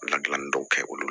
Ladilanni dɔw kɛ olu